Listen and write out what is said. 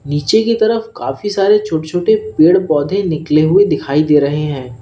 नीचे की तरफ काफी सारे छोटे छोटे पेड़ पौधे निकले हुए दिखाई दे रहे हैं।